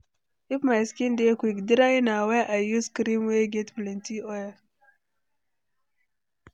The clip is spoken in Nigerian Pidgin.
If my skin dey quick dry na why I use cream wey get plenty oil.